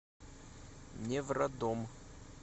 невродом